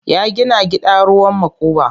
Ya gina gida ruwan makuba.